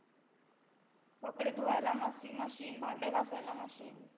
कपडे धुवायला washing machine भांडे घासायला machine